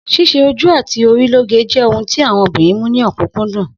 S̩ís̩e ojú àti orí lóge jé̩ ohun tí àwo̩n obìnrin mú ní ò̩kúnkúndùn